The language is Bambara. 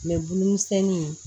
bulu misɛnni